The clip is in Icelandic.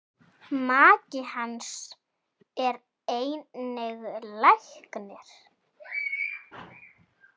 Maki hans er einnig læknir.